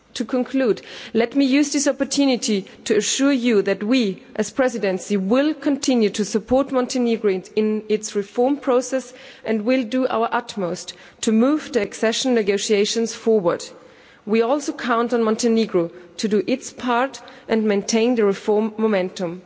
To conclude, let me use this opportunity to assure you that we, as the Presidency, will continue to support Montenegro in its reform process and will do our utmost to move the accession negotiations forward. We also count on Montenegro to do its part and maintain the reform momentum.